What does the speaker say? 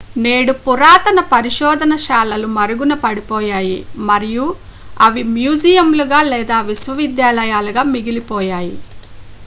నేడు పురాతన పరిశోధనశాలలు మరుగున పడిపోయాయి మరియు అవి మ్యూజియంలుగా లేదా విద్యాలయాలుగా మిగిలిపోయాయి